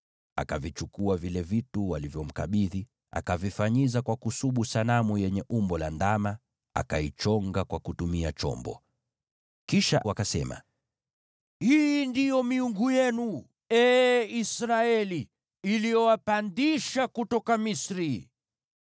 Akavichukua vile vitu walivyomkabidhi, akavifanyiza kwa kusubu sanamu yenye umbo la ndama, akaichonga kwa kutumia chombo. Kisha wakasema, “Hii ndiyo miungu yenu, ee Israeli, iliyowapandisha kutoka Misri.”